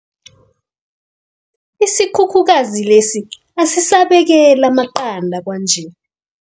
Isikhukhukazi lesi asisabekeli amaqanda kwanje.